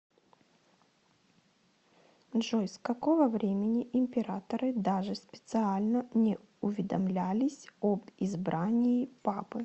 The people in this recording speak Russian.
джой с какого времени императоры даже специально не уведомлялись об избрании папы